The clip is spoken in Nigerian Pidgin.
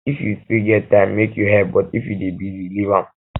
if you still get time make you help but if you dey busy leave am